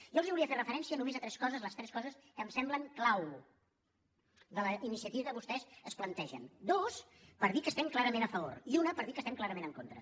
jo els volia fer referència només a tres coses les tres coses que em semblen clau de la iniciativa que vostès es plantegen dues per dir que hi estem clarament a favor i una per dir que hi estem clarament en contra